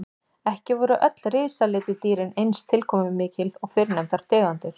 Ekki voru öll risaletidýrin eins tilkomumikil og fyrrnefndar tegundir.